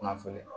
Kunnafoni